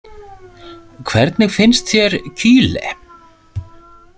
Hvernig finnst þér Kyle?